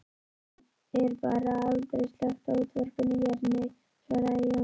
Er bara aldrei slökkt á útvarpinu hér, nei, svaraði Jón